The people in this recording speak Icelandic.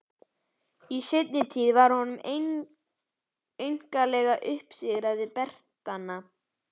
Í seinni tíð var honum einkanlega uppsigað við Bretana.